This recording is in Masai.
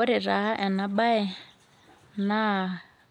Ore taa ena bae naa